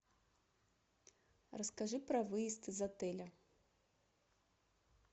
расскажи про выезд из отеля